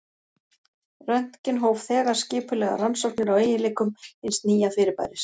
Röntgen hóf þegar skipulegar rannsóknir á eiginleikum hins nýja fyrirbæris.